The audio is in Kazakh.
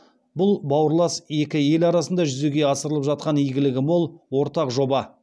бұл бауырлас екі ел арасында жүзеге асырылып жатқан игілігі мол ортақ жоба